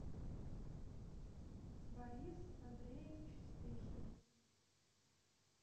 борис андреевич спехин